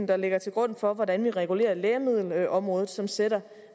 der ligger til grund for hvordan vi regulerer lægemiddelområdet som sætter